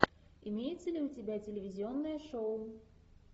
имеется ли у тебя телевизионное шоу